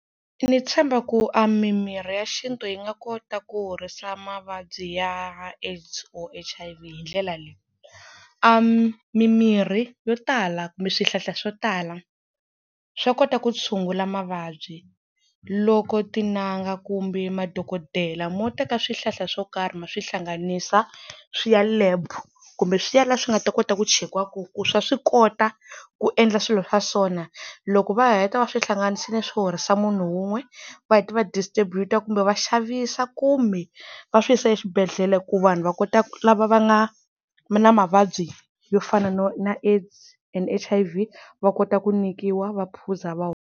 Ni tshemba ku a mi mirhi ya xintu yi nga kota ku horisa mavabyi ya AIDS or H_I_V hi ndlela leyi, a mi mimirhi yo tala kumbe swihlahla swo tala swa kota ku tshungula mavabyi loko tin'anga kumbe madokodela mo teka swihlahla swo karhi ma swi hlanganisa swi ya lab, kumbe swi ya la swi nga ta kota ku chekiwa kona ku swa swi kota ku endla swilo swa so na, loko va heta va swi hlanganisile swi horisa munhu wun'we, va heta va distrubute kumbe va xavisa kumbe va swi yisa eswibedhlele ku vanhu va kota ku lava va nga na mavabyi yo fana no na AIDS and H_I_V va kota ku nyikiwa va phuza va hola.